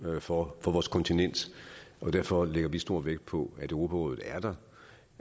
for vores kontinent derfor lægger sf stor vægt på at europarådet er der